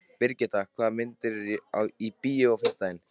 Brigitta, hvaða myndir eru í bíó á fimmtudaginn?